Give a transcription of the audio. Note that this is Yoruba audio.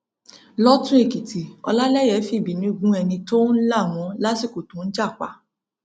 lọtùnèkìtì ọlálèyé fìbínú gún ẹni tó ń là wọn lásìkò tó ń jà pa